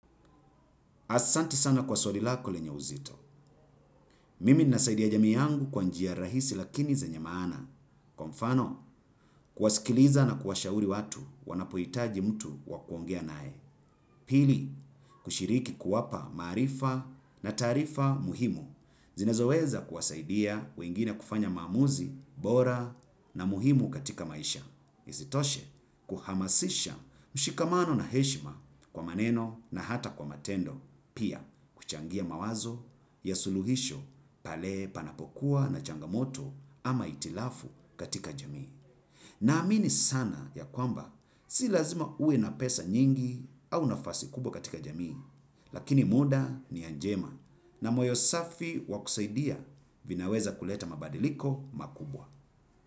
Asanti sana kwa swali lako lenye uzito. Mimi nina saidia jamii yangu kwa njia rahisi lakini zenye maana. Kwa mfano, kuwasikiliza na kuwashauri watu wanapohitaji mtu wa kuongea naye. Pili, kushiriki kuwapa maarifa na taarifa muhimu. Zinazoweza kuwasaidia wengine kufanya maamuzi bora na muhimu katika maisha. Isitoshe kuhamasisha mshikamano na heshima kwa maneno na hata kwa matendo, pia kuchangia mawazo ya suluhisho pale panapokuwa na changamoto ama hitilafu katika jamii. Na amini sana ya kwamba si lazima uwe na pesa nyingi au nafasi kubwa katika jamii lakini muda ni ya njema na moyo safi wa kusaidia vinaweza kuleta mabadiliko makubwa.